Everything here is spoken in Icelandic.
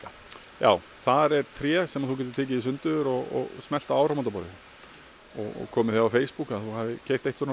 já þar er tré sem þú getur tekið í sundur og smellt á áramótaborðið og komið því á Facebook að þú hafir keypt eitt svona